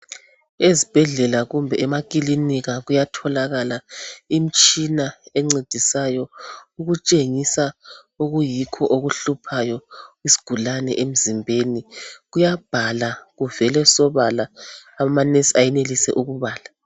Ezibhedlela kumbe emakilinika kuyatholakala imitshina encedisayo ukutshengisa okuyikho okuhluphayo isigulane emzimbeni. Kuyabhala kuvele sobala amanesi ayenelise ukubala.